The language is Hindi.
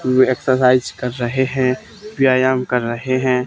वे एक्सरसाइज कर रहे हैं व्यायाम कर रहे हैं।